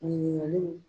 Ɲininkaliw